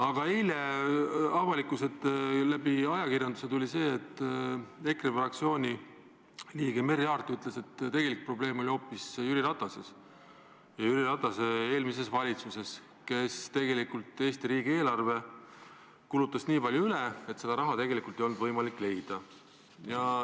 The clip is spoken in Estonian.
Ent eile käis avalikkusest ajakirjanduse vahendusel läbi, et EKRE fraktsiooni liige Merry Aart ütles, et tegelik probleem oli hoopis Jüri Ratases ja Jüri Ratase eelmises valitsuses, kes tegelikult kulutas Eesti riigieelarvet nii palju üle, et seda raha ei olnud võimalik leida.